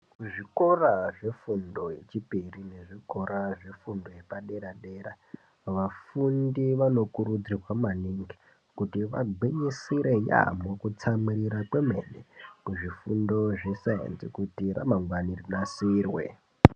Ku zvikora zvefundo yechipiri ne zvikora zve fundo yepa dera dera vafundi vano kurudzirwa maningi kuti vagwinyisire yamho ku tsamwirira kwemene ku zvifundo zve sainzi kuti ra mangwani rinasirwe.